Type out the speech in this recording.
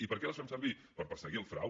i per a què les fem servir per perseguir el frau